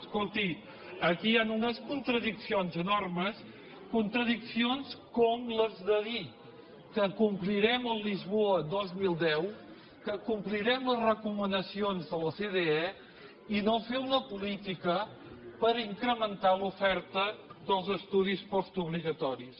escolti aquí hi han unes contradiccions enormes contradiccions com les de dir que complirem el lisboa dos mil deu que complirem les recomanacions de l’ocde i no fer una política per incrementar l’oferta dels estudis postobligatoris